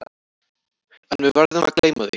En við verðum að gleyma því.